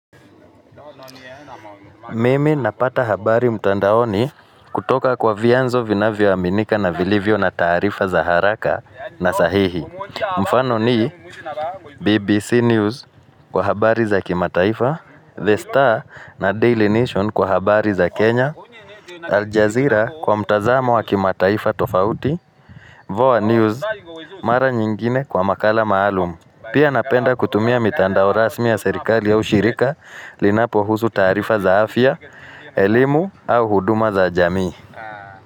Mimi napata habari mtandaoni kutoka kwa vianzo vinavyoaminika na vilivyo na taarifa za haraka na sahihi. Mfano ni BBC News kwa habari za kimataifa, The Star na Daily Nation kwa habari za Kenya, Al Jazeera kwa mtazamo wa kimataifa tofauti, Voa News mara nyingine kwa makala maalum. Pia napenda kutumia mitandao rasmi ya serikali au shirika linapohusu taarifa za afya, elimu au huduma za jamii.